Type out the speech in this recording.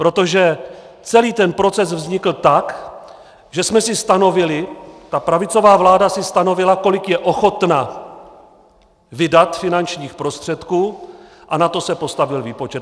Protože celý ten proces vznikl tak, že jsme si stanovili, ta pravicová vláda si stanovila, kolik je ochotna vydat finančních prostředků, a na to se postavil výpočet.